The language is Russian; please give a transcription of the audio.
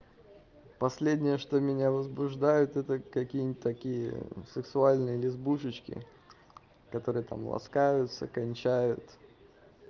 последнее что меня возбуждает это какие-нибудь такие сексуальные лесбушечки которые там ласкаются кончают